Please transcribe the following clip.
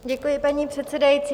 Děkuji, paní předsedající.